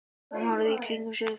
Hún horfir í kringum sig.